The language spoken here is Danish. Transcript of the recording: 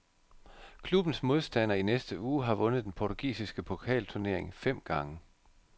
Klubbens modstander i næste uge har vundet den portugisiske pokalturnering fem gange.